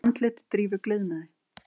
Andlit Drífu gliðnaði.